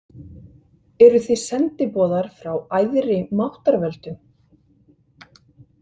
Eruð þið sendiboðar frá æðri máttarvöldum?